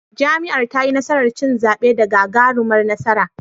Jam'iyyar tayi nasarar cin zaɓe da gagarumar nasara.